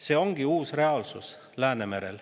See ongi uus reaalsus Läänemerel.